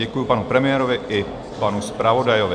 Děkuji panu premiérovi i panu zpravodajovi.